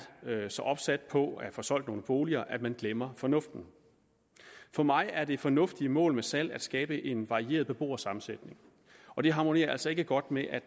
så opsat på at få solgt nogle boliger at den glemmer fornuften for mig er det fornuftige mål med salg at skabe en varieret beboersammensætning og det harmonerer altså ikke godt med